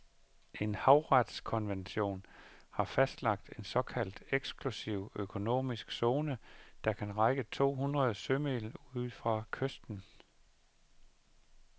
En havretskonvention har fastlagt en såkaldt eksklusiv økonomisk zone, der kan række to hundrede sømil ud fra kysten.